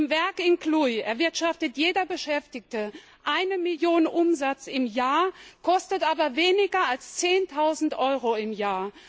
Im Werk in Cluj erwirtschaftet jeder Beschäftigte eine Million Umsatz im Jahr, kostet aber weniger als zehntausend Euro im Jahr.